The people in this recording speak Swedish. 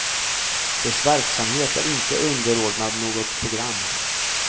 Dess verksamhet är inte underordnad något program.